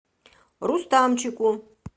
рустамчику